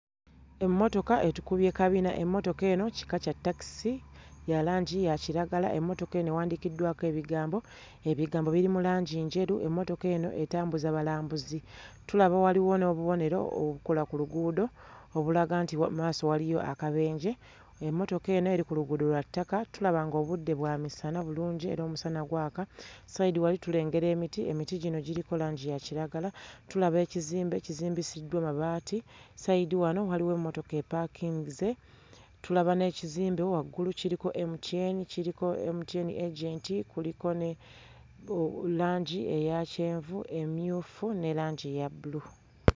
Emmotoka etukubye kabina emmotoka eno kika kya ttakisi ya langi ya kiragala emmotoka eno ewandiikiddwako ebigambo, ebigambo biri mu langi njeru emmotoka eno etambuza balambuzi tulaba waliwo n'obubonero obukola ku luguudo obulaga nti wa mmaaso waliyo akabenje emmotoka eno eri ku luguudo lwa ttaka tulaba ng'obudde bwa misana bulungi era omusana gwaka ssayidi wali tulengera emiti emiti gino giriko langi ya kiragala. Tulaba ekizimbe kizimbisiddwa mabaati ssayidi wano waliwo emmotoka epaakinze, tulaba n'ekizimbe waggulu kiriko MTN kiriko MTN agent kuliko ne oh langi eya kyenvu, emmyufu ne langi eya bbulu.